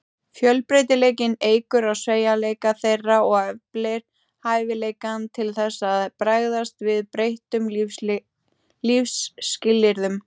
Fjölbreytileikinn eykur á sveigjanleika þeirra og eflir hæfileikann til þess að bregðast við breyttum lífsskilyrðum.